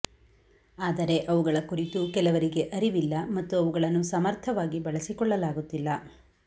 ಆದರೆ ಅವುಗಳ ಕುರಿತು ಕೆಲವರಿಗೆ ಅರಿವಿಲ್ಲ ಮತ್ತು ಅವುಗಳನ್ನು ಸಮರ್ಥವಾಗಿ ಬಳಸಿಕೊಳ್ಳಲಾಗುತ್ತಿಲ್ಲ